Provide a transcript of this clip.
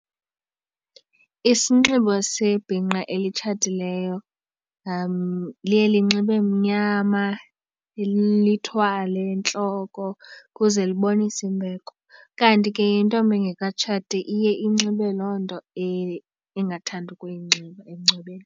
Isinxibo sebhinqa elitshatileyo liye linxibe mnyama lithwale entloko ukuze libonise imbeko. Kanti ke intombi engekatshati iye inxibe loo nto engathanda ukuyinxiba emngcwabeni.